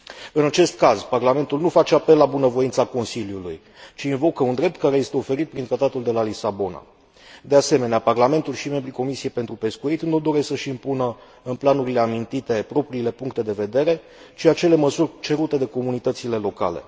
În acest caz, Parlamentul nu face apel la bunăvoința Consiliului, ci invocă un drept care este oferit prin Tratatul de la Lisabona. De asemenea, Parlamentul și membrii Comisiei pentru pescuit nu doresc să și impună în planurile amintite propriile puncte de vedere, ci acele măsuri cerute de comunitățile locale.